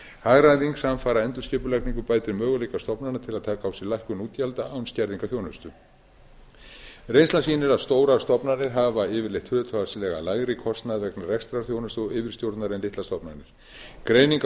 hagræðing samfara endurskipulagningu bætir möguleika stofnana til að taka á sig lækkun útgjalda án skerðingarþjónustu reynslan sýnir að stórar stofnanir hafa yfirleitt hlutfallslega lægri kostnað vegna rekstrarþjónustu og yfirstjórnar en litlar stofnanir greining á